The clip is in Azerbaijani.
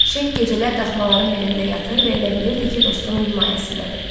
Şeyx gecələr daxmaların birində yatır və elə bilirdi ki, dostunun himayəsindədir.